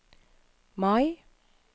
Mai